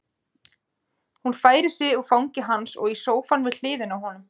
Hún færir sig úr fangi hans og í sófann við hliðina á honum.